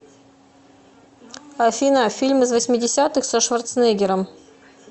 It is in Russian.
афина фильм из восьмидесятых со шварценеггером